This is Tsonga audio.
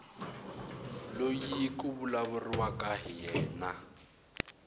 loyi ku vulavuriwaka hi yena